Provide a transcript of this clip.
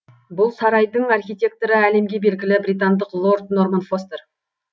бұл сарайдың архитекторы әлемге белгілі британдық лорд норман фостер